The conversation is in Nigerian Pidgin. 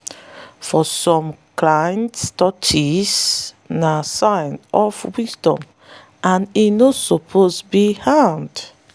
for some clans tortoise na sign of wisdom and e no suppose be harmed.